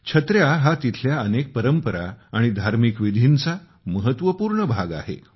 छत्र्या हा तिथल्या अनेक परंपरा आणि धार्मिक विधींचा महत्वपूर्ण भाग आहे